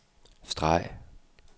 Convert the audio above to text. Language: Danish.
streg